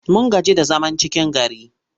Mun gaji da zaman cikin gari.